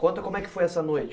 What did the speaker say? Conta como é que foi essa noite.